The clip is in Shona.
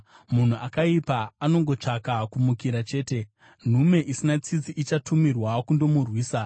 Munhu akaipa anongotsvaka kumukira chete; nhume isina tsitsi ichatumirwa kundomurwisa.